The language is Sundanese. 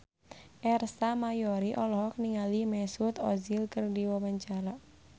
Ersa Mayori olohok ningali Mesut Ozil keur diwawancara